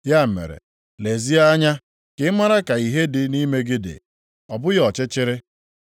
Ya mere, lezie anya ka ị mara ka ìhè dị nʼime gị, ọ bụghị ọchịchịrị.